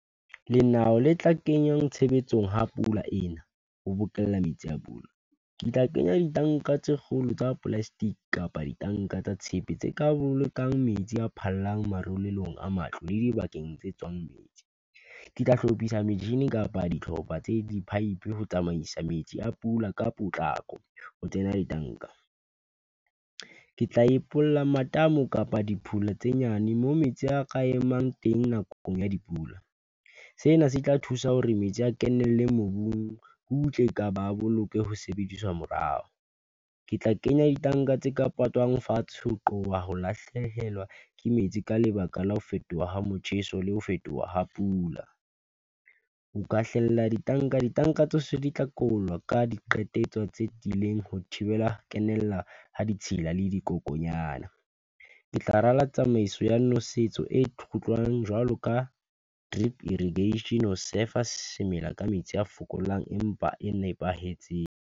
Lenao le tla kenyang tshebetsong ha pula ena, ho bokella metsi a pula, ke tla kenya ditanka tse kgolo tsa plastic, kapa ditanka tsa tshepe tse ka bolokang metsi a phallang, marulelong a matlo le dibakeng tse tswang metsi. Ke tla hlophisa metjhini kapa dihlopha tse di pipe, ho tsamaisa metsi a pula ka potlako, ho tsena ditanka, ke tla ipolella matamo kapa dipula tse nyane, mo metsi a ka emang teng nakong ya dipula. Sena se tla thusa hore metsi a kenele mobung, butle kapa a ba boloke ho sebediswa morao. Ke tla kenya ditanka tse ka patalwang fatshe, ho qoba ho lahlehelwa ke metsi, ka lebaka la ho fetoha ha motjheso, le ho fetoha ha pula, o ka hlela ditanka. Ditanka tsohle di tla kobollwa ka di qetetse tse tiileng, ho thibela kenella ha ditshila le dikokonyana. Ke tla rala tsamaiso ya nosetso e kgutlang, jwalo ka drip irrigation ho surf a semela ka metsi a fokolang, empa e nepahetseng.